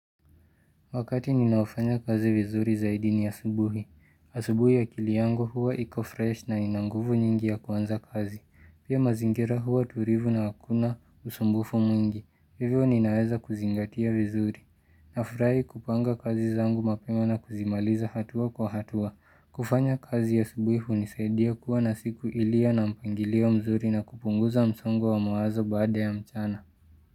Wakati ninao fanya kazi vizuri zaidi ni asubuhi. Asubuhi akili yangu huwa iko freshi na ina nguvu nyingi ya kuanza kazi. Pia mazingira huwa tulivu na hakuna usumbufu mwingi. Hivyo ninaweza kuzingatia vizuri. Nafurahi kupanga kazi zangu mapema na kuzimaliza hatua kwa hatua. Kufanya kazi asubuhi hunisaidia kuwa na siku iliyo na mpangilia mzuri na kupunguza msongo wa mawazo baada ya mchana.